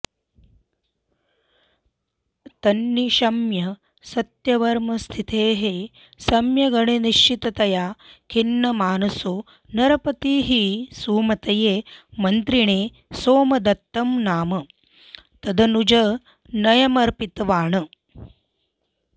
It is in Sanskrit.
तन्निशम्य सत्यवर्मस्थितेः सम्यगनिश्चिततया खिन्नमानसो नरपतिः सुमतये मन्त्रिणे सोमदत्तं नाम तदनुजतनयमर्पितवान्